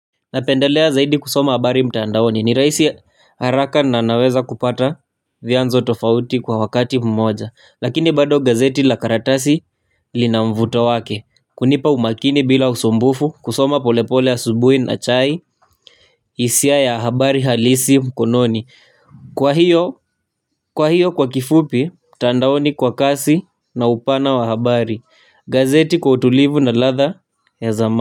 Napendelea zaidi kusoma habari mtandaoni ni rahisi haraka na naweza kupata vyanzo tofauti kwa wakati mmoja. Lakini bado gazeti la karatasi lina mvuto wake kunipa umakini bila usumbufu kusoma polepole asubuhi na chai hisia ya habari halisi mkononi. Kwa hiyo kwa hiyo kwa kifupi mtandaoni kwa kasi na upana wa habari. Gazeti kwa utulivu na ladha ya zama.